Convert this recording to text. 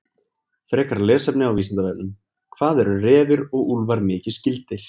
Frekara lesefni á Vísindavefnum: Hvað eru refir og úlfar mikið skyldir?